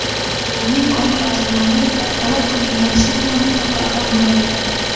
Ayolning oila a’zolari talab qilingan summani topa olmagan.